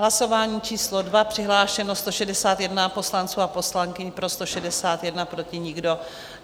Hlasování číslo 2, přihlášeno 161 poslanců a poslankyň, pro 161, proti nikdo.